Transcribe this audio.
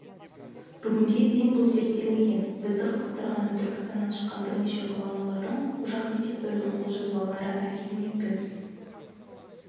бүгінге дейін бұл зерттелмеген бізді қызықтырғаны түркістаннан шыққан бірнеше ғұламалардың қожа ахмет яссауидің қолжазбалары әрине біз